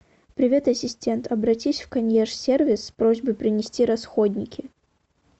привет ассистент обратись в консьерж сервис с просьбой принести расходники